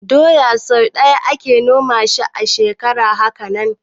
Doya sai ɗaya ake noma a shekara, haka nan